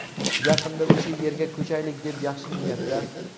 yaqinda o‘sha yerga ko‘chaylik deb yaxshi niyatda .